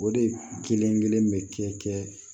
O de kelen-kelen bɛ kɛ